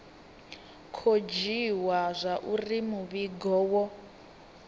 khou dzhiiwa zwauri muvhigo wo